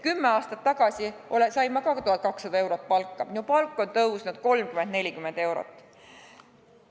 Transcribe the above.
Kümme aastat tagasi sain ka mina umbes 1200 eurot, minu palk on tõusnud 30 või 40 eurot.